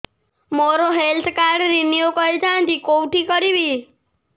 ମୋର health card renew କରିଥାନ୍ତି କୋଉଠି କରିବି